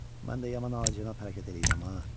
Mən də yaman acına hərəkət eləyirəm ha.